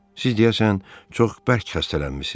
Siz deyəsən çox bərk xəstələnmisiz.